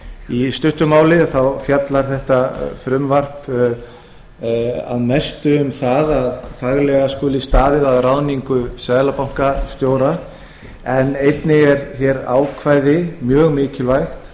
í stuttu máli fjallar þetta frumvarp að mestu um það að faglega skuli staðið að ráðningu seðlabankastjóra en einnig er þar mjög mikilvægt